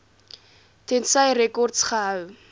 tensy rekords gehou